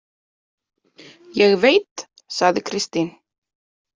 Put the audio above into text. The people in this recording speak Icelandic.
Ég veit, sagði Kristín.